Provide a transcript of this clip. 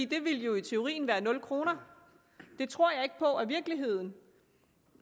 det ville jo i teorien være nul kroner det tror jeg ikke på er virkeligheden